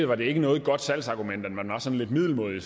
var det ikke noget godt salgsargument at man var sådan lidt middelmådig